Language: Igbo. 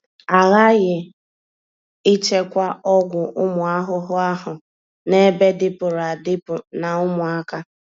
A ghaghị ịchekwa ọgwụ ụmụ ahụhụ ahụ n'ebe dịpụrụ adịpụ na ụmụaka.